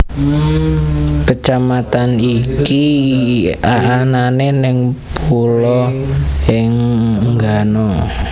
Kecamatan iki anane neng Pulo Enggano